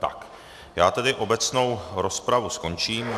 Tak já tedy obecnou rozpravu skončím.